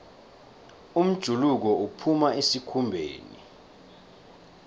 umjuluko uphuma esikhumbeni